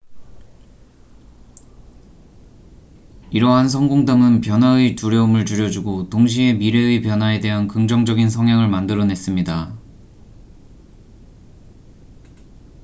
이러한 성공담은 변화의 두려움을 줄여주고 동시에 미래의 변화에 대한 긍정적인 성향을 만들어냈습니다